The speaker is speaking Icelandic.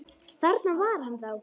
Þarna var hann þá!